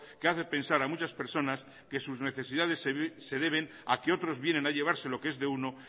que hace pensar a muchas personas que sus necesidades se deben a que otros vienen a llevarse lo que es de uno